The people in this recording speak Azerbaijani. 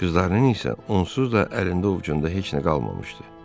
Qızlarının isə onsuz da əlində-ovcunda heç nə qalmamışdı.